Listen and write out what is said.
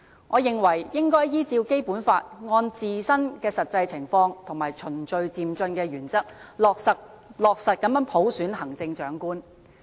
我認為應該依照《基本法》按自身的實際情況和循序漸進的原則，落實普選行政長官。